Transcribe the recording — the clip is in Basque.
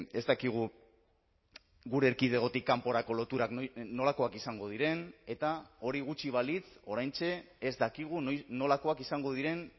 ez dakigu gure erkidegotik kanporako loturak nolakoak izango diren eta hori gutxi balitz oraintxe ez dakigu nolakoak izango diren